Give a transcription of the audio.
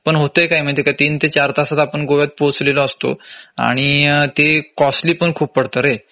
पण होतंय काय माहितीये का तीन ते चार तासात आपण गोव्यात पोहोचलेलो असतो आणि ते कॉस्टली पण खूप पडतं रे